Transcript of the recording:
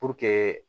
Puruke